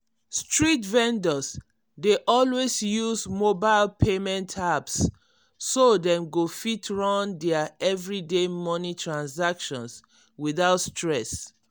street vendors dey always use mobile payment apps so dem go fit run their everyday money transactions without stress.